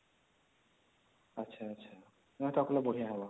ଆଛା ଆଛା ନାଇଁ ତା ପିଲା ବଢିଆ ହବ